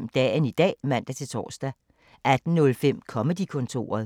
17:05: Dagen i dag (man-tor) 18:05: Comedy-kontoret